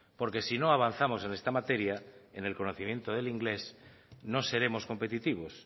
porque si no avanzamos en esta materia en el conocimiento del inglés no seremos competitivos